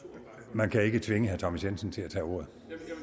man kan ikke tvinge herre thomas jensen til at tage ordet